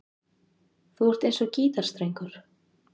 Þú ert eins og gítarstrengur.